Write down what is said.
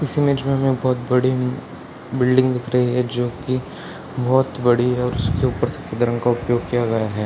इस इमेज में हमें बहोत बड़ी बिल्डिंग दिख रही है जो की बहोत बड़ी है उसके ऊपर सफ़ेद रंग का उपयोग किया गया है।